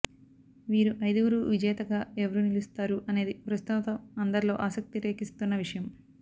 వీరు అయిదుగురు విజేతగా ఎవరు నిలుస్తారు అనేది ప్రస్తుతం అందరిలో ఆసక్తి రేకెత్తిస్తున్న విషయం